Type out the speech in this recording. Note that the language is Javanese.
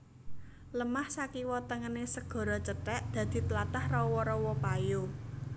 Lemah sakiwa tengené segara cethèk dadi tlatah rawa rawa payo